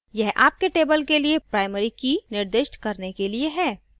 यह आपके table के लिए primary key निर्दिष्ट करने के लिए है